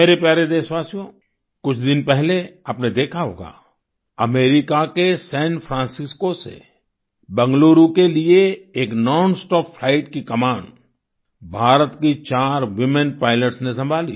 मेरे प्यारे देशवासियो कुछ दिन पहले आपने देखा होगा अमेरिका के सान फ्रांसिस्को से बैंगलुरू के लिए एक नॉनस्टॉप फ्लाइट की कमान भारत की चार वूमेन पाइलट्स ने संभाली